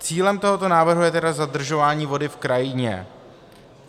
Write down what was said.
Cílem tohoto návrhu je tedy zadržování vody v krajině.